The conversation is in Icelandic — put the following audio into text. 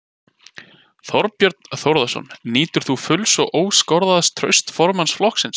Þorbjörn Þórðarson: Nýtur þú fulls og óskoraðs trausts formanns flokksins?